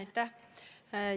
Aitäh!